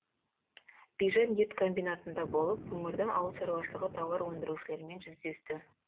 бижан ет комбинатында болып өңірдің ауыл шаруашылығы тауар өндірушілерімен жүздесті